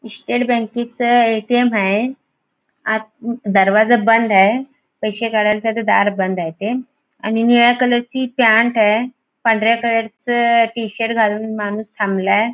State बँकेचे ATM. आहे आत दरवाजा बंद आहे पैसे काढण्यासाठी दार बंद आहे ते आणि निळ्या कलरची पॅन्ट आहे पांढऱ्या कलरच टी शर्ट घालून माणूस थांबलाय.